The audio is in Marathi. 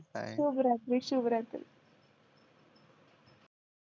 बाय शुभ रात्री शुभ रात्री